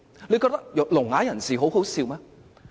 他們覺得聾啞人士很可笑嗎？